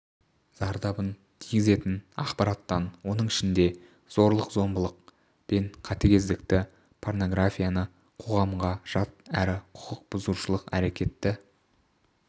зардабын тигізетін ақпараттан оның ішінде зорлық-зомбылық пен қатыгездікті порнографияны қоғамға жат әрі құқық бұзушылық әрекетті